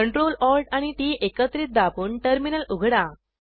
Ctrl Alt आणि T T एकत्रित दाबून टर्मिनल उघडा